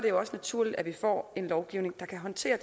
jo også naturligt at vi får en lovgivning der kan håndtere